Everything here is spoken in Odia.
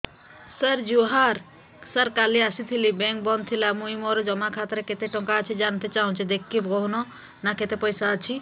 ସାର ଜୁହାର ସାର କାଲ ଆସିଥିନି ବେଙ୍କ ବନ୍ଦ ଥିଲା ମୁଇଁ ମୋର ଜମା ଖାତାରେ କେତେ ଟଙ୍କା ଅଛି ଜାଣତେ ଚାହୁଁଛେ ଦେଖିକି କହୁନ ନା କେତ ପଇସା ଅଛି